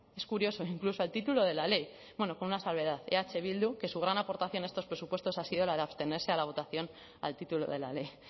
es curioso incluso al título de la ley bueno con una salvedad eh bildu que su gran aportación a estos presupuestos ha sido la de abstenerse a la votación al título de la ley